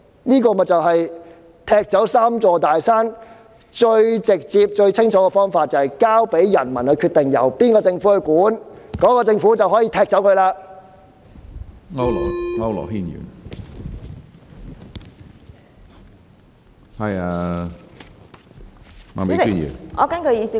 這便是踢走"三座大山"最直接、最清楚的方法，也就是交由人民決定由哪個政府管治，屆時那個政府便可以踢走這些"大山"。